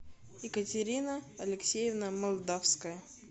екатерина алексеевна молдавская